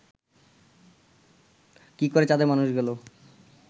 কি করে চাঁদে মানুষ গেল